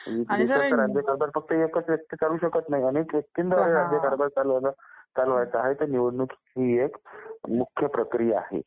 देशाचा राज्यकारभार फक्त एकच व्यक्ती चालवू शकत नाही, अनेक व्यक्ती लागतात राज्यकारभार चालवायला म्हणून निवडणूक ही एक मुख्य प्रक्रिया आहे.